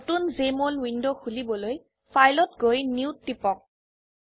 নতুন Jmol window খুলিবলৈ Fileত গৈ নিউ ত টিপক